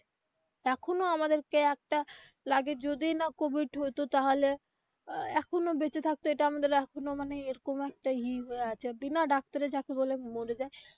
এখনো আমাদের কে একটা লাগে যদি না কোভিড হইতো তাহলে আহ এখনো বেঁচে থাকতো এটা আমাদের এখনো মানে এরকম একটা ই হয়ে আছে বিনা ডাক্তারে যাকে বলে মরে যায়.